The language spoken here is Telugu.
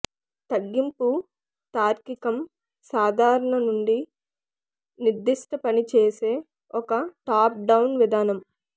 తగ్గింపు తార్కికం సాధారణ నుండి నిర్దిష్ట పని చేసే ఒక టాప్ డౌన్ విధానం